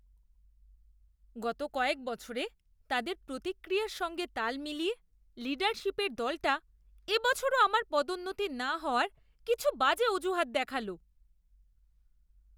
গত কয়েক বছরে তাদের প্রতিক্রিয়ার সঙ্গে তাল মিলিয়ে লীডারশিপের দলটা এবছরও আমার পদোন্নতি না হওয়ার কিছু বাজে অজুহাত দেখালো। কর্মচারী দুই